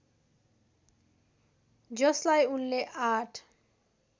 जसलाई उनले आठ